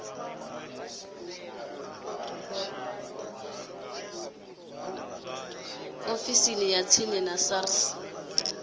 ofisini ya tsini ya sars